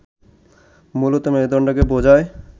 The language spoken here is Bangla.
মূলত মেরুদণ্ডকে বোঝায়